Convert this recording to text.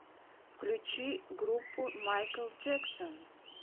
включи группу майкл джэксон